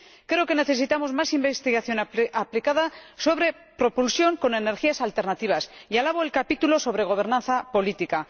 Creo que necesitamos más investigación aplicada sobre propulsión con energías alternativas y alabo el capítulo sobre gobernanza política.